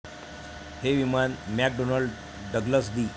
हे विमान McDonnell Douglas D.